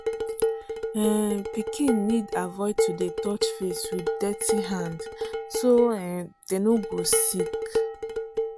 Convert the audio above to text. um pikin need avoid to dey touch face with dirty hand so um dem no go sick.